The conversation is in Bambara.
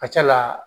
Ka ca la